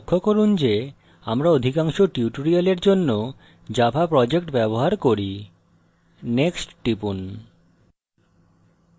এছাড়াও লক্ষ্য করুন যে আমরা অধিকাংশ tutorials জন্য java project ব্যবহার করি next টিপুন